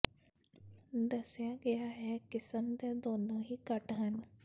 ਦੱਸਿਆ ਗਿਆ ਹੈ ਕਿਸਮ ਦੇ ਦੋਨੋ ਹੀ ਘੱਟ ਹਨ